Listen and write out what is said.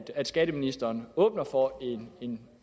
at skatteministeren åbner for en